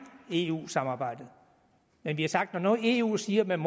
eu samarbejdet men vi har sagt at når nu eu siger at man